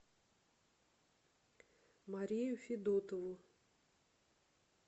марию федотову